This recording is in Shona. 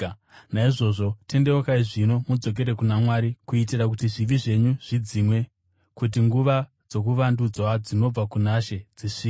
Naizvozvo, tendeukai zvino, mudzokere kuna Mwari, kuitira kuti zvivi zvenyu zvidzimwe, kuti nguva dzokuvandudzwa dzinobva kuna She dzisvike